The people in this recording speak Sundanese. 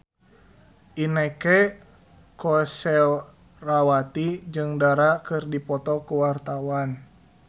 Inneke Koesherawati jeung Dara keur dipoto ku wartawan